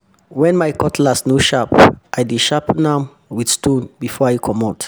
wen my cutlass no sharp i dey sharpen am wit stone before i comot